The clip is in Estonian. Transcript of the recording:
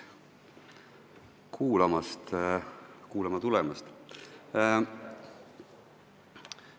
Tänan kuulama tulemast!